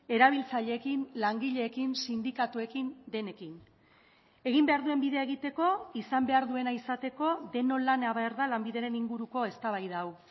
erabiltzaileekin langileekin sindikatuekin denekin egin behar duen bidea egiteko izan behar duena izateko denon lana behar da lanbideren inguruko eztabaida hau